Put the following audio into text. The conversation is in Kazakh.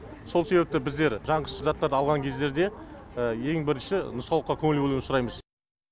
сол себепті біздер жанғыш заттарды алған кездерде ең бірінші нұсқаулыққа көңіл бөлуді сұраймыз